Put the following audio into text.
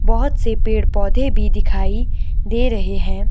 बहोत से पेड़-पौधे भी दिखाई दे रहे हैं।